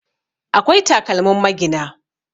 akwai takalmin magina